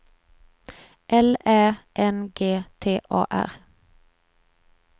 L Ä N G T A R